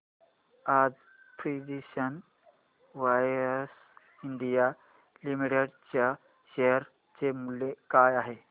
आज precision wires India limited च्या share चे मूल्य काय आहे